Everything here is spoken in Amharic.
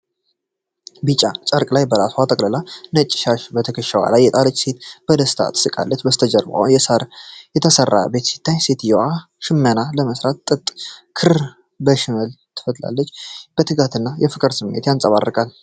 ቢጫ ጨርቅ በራሷ ላይ ጠቅልላ፣ ነጭ ሻሽ በትከሻዋ ላይ የጣለች ሴት በደስታ ትስቃለች። ከበስተጀርባ በሳር የተሰራ ቤት ሲታይ፣ ሴትየዋ ሽመና ለመስራት የጥጥ ክር በሽመል ትፈትላለች። የትጋት እና የፍቅር ስሜት ይንጸባረቃል።